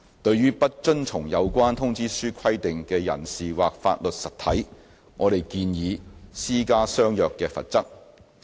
對於不遵從有關通知書規定的人士或法律實體，我們建議施加相若的罰則。